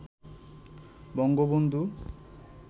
Bangabandhu